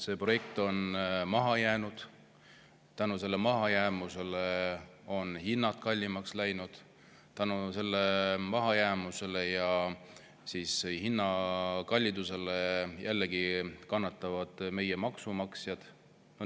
See projekt on maha jäänud, hinnad on kallimaks läinud ning selle mahajäämuse ja kõrgemate hindade tõttu kannatavad jällegi meie maksumaksjad.